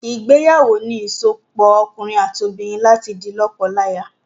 Ìgbéyàwó ni ìsopọ̀ òkunrin àti obìnrin láti di lọ́kọlaya